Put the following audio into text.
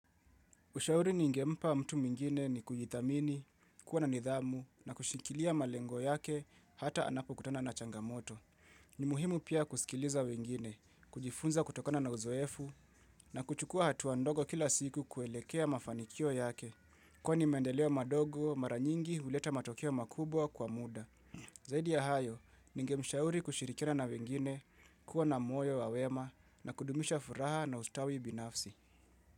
Ushauri ningempa mtu mwingine ni kujithamini, kuwa na nidhamu na kushikilia malengo yake hata anapokutana na changamoto. Ni muhimu pia kusikiliza wengine, kujifunza kutokona na uzoefu na kuchukua hatua ndogo kila siku kuelekea mafanikio yake. Kwani mendeleo madogo mara nyingi huleta matokeo makubwa kwa muda. Zaidi ya hayo, ngemshauri kushirikina na wengine, kuwa na moyo wa wema na kudumisha furaha na ustawi binafsi.